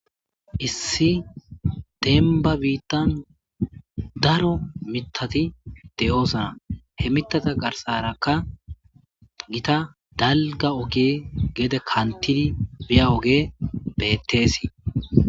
Issi dembba biittan daro miittatti de7oosona he miittata garssarakka giitta dalgga ooge gedde kanttidii biya ooge betteesii